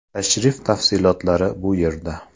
Tashrif tafsilotlari bu yerda .